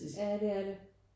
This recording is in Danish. Ja det er det